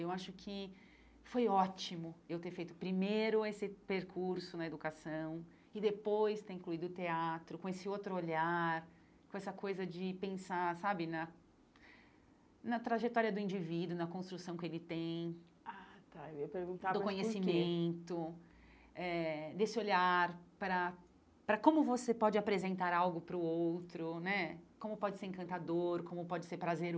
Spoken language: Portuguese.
Eu acho que foi ótimo eu ter feito primeiro esse percurso na educação e depois ter incluído o teatro com esse outro olhar, com essa coisa de pensar sabe na na trajetória do indivíduo, na construção que ele tem, ah tá eu ia perguntar mas porquê do conhecimento, eh desse olhar para para como você pode apresentar algo para o outro né, como pode ser encantador, como pode ser